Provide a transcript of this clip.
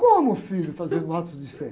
Como, filho, fazendo atos de fé?